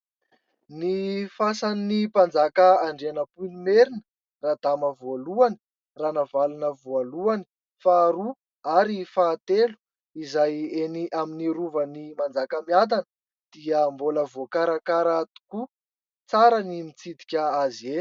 Ny fasan'ny mpanjaka Andrianampoinimerina, Radama voalohany, Ranavalona voalohany, faharoa ary fahatelo ; izay eny amin'ny Rovan'i Manjakamiadana ; dia mbola voakarakara tokoa. Tsara ny mitsidika azy e !